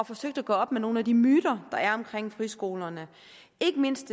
forsøgt at gøre op med nogle af de myter der er omkring friskolerne ikke mindst